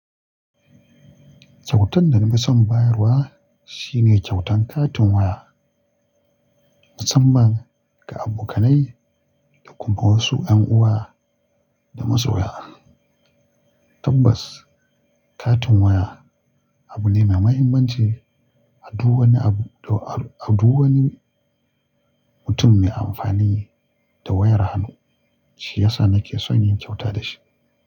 Kyautan da na fi son bayarwa shine kyautan katin waya, musamman ga abokanai da kuma wasu ƴan uwa da masoya. Tabbas, katin waya abu ne mai mahimmanci a duwanni abu-- a duwanni mutum mai amfani da wayar hannu. Shi ya sa nake son yin kyauta da shi.